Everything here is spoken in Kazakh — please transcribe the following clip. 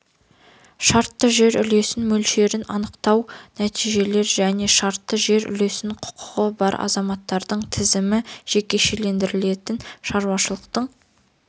шартты жер үлесі мөлшерін анықтау нәтижелер және шартты жер үлесіне құқығы бар азаматтардың тізім жекешелендірілетін шаруашылықтың